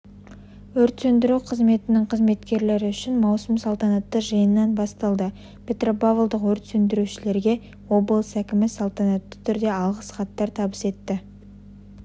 өрт сөндіру қызметінің қызметкерлері үшін маусым салтанатты жиыннан басталды петропавлдық өрт сөндірушілерге облыс әкімі салтанатты түрде алғыс хаттар табыс етті